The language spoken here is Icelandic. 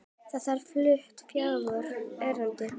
Þar verða flutt fjögur erindi.